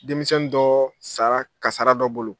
Denmisɛnnin dɔɔ sara kasara dɔ bolo.